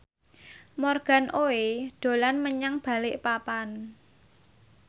Morgan Oey dolan menyang Balikpapan